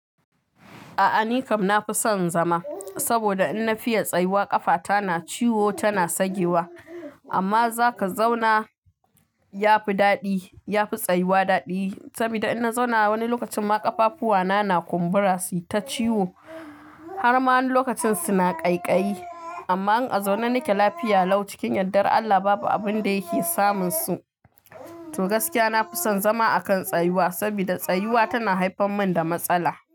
A'a ni kam na fi son zama, saboda in na fiya tsayuwa ƙafata na ciwo tana sagewa. Amma za ka zauna ya fi daɗi, ya fi tsayuwa daɗi. Saboda in na zauna wani lokacin ma ƙafafu wa na, na kumbura su ta ciwo. Har ma wani lokacin su na ƙaiƙayi. Amma in a zaune nike lafiya lau cikin yaddar Allah babu abun da yake samun su. To gaskiya na fi son zama a kan tsayuwa, saboda tsayuwa tana haifar mun da matsala.